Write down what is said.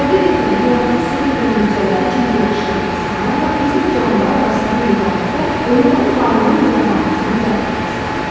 Həqiqətən həyatın sehr və möcüzələri içində yaşayan insanlarla digər canlılar arasında yeganə fərq onların varlığı nizamlanmasını dərk etməsindədir.